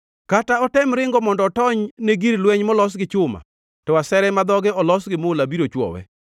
Kata otem ringo mondo otony ne gir lweny molos gi chuma, to asere ma dhoge olos gi mula biro chwowe.